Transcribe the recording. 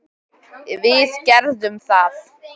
Við gerðum það.